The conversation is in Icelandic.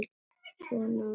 Svona á ekki að hugsa.